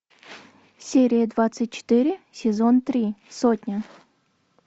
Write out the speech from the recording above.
серия двадцать четыре сезон три сотня